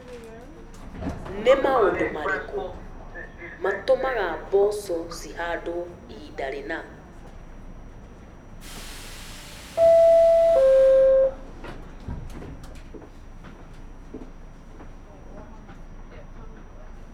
Read prompt question only